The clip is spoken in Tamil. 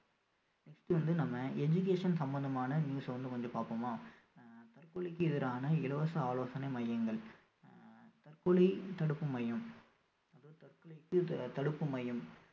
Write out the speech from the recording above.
next வந்து நம்ம education சம்பந்தமான news அ வந்து வந்து கொஞ்சம் பார்ப்போமா ஆஹ் தற்கொலைக்கு எதிரான இலவச ஆலோசனை மையங்கள் ஆஹ் தற்கொலை தடுப்பு மையம் தற்கொலைக்கு த~ தடுப்பு மையம்